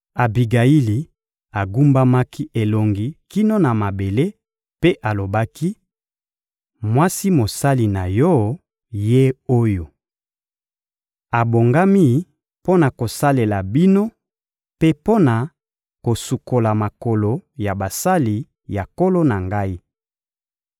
Abigayili agumbamaki elongi kino na mabele mpe alobaki: — Mwasi mosali na yo, ye oyo! Abongami mpo na kosalela bino mpe mpo na kosukola makolo ya basali ya nkolo na ngai.